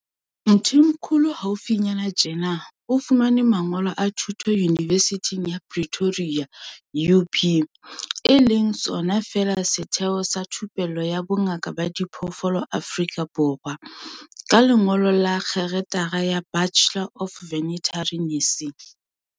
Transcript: Mthimkhulu haufinyana tjena o fumane mangolo a thuto Yunivesithing ya Pretoria, UP, e leng sona feela setheo sa thupello ya bo ngaka ba diphoofolo Afrika Borwa, ka lengolo la kgerata ya Bachelor of Veterinary Nursing.